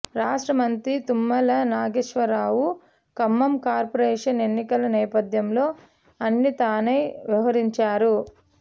రాష్ట్ర మంత్రి తుమ్మల నాగేశ్వరరావు ఖమ్మం కార్పొరేషన్ ఎన్నికల నేపథ్యంలో అన్నీ తానై వ్యవహరించారు